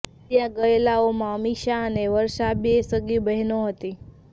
માર્યા ગયેલાઓમાં અમીષા અને વર્ષા બે સગી બહેનો હતી